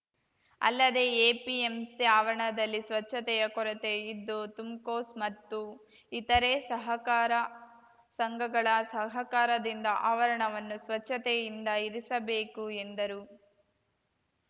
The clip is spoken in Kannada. ಅಲ್ಲದೇ ಎಪಿಎಂಸಿ ಅವರಣದಲ್ಲಿ ಸ್ವಚ್ಛತೆಯ ಕೊರತೆ ಇದ್ದು ತುಮ್‌ಕೋಸ್‌ ಮತ್ತು ಇತರೇ ಸಹಕಾರ ಸಂಘಗಳ ಸಹಕಾರದಿಂದ ಆವರಣವನ್ನು ಸ್ವಚ್ಛತೆಯಿಂದ ಇರಿಸಬೇಕು ಎಂದರು